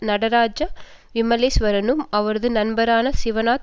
நடராஜா விமலேஸ்வரனும் அவரது நண்பரான சிவநாதன்